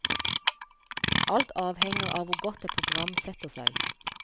Alt avhenger av hvor godt et program setter seg.